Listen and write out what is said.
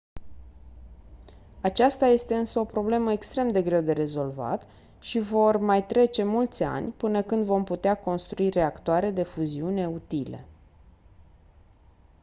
aceasta este însă o problemă extrem de greu de rezolvat și vor mai trece mulți ani până când vom putea construi reactoare de fuziune utile